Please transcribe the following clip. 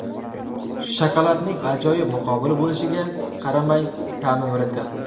Shokoladning ajoyib muqobili bo‘lishiga qaramay, ta’mi murakkab.